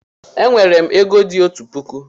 E nwere m ego di otu puku